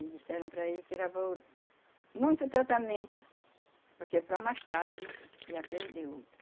E disseram para ele que era muito tratamento, porque para mais tarde ia perder outro.